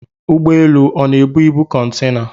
Ụgbọelu ọ na-ebu ibu kọntena?